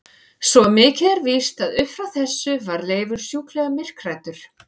Svo mikið er víst að upp frá þessu varð Leifur sjúklega myrkhræddur.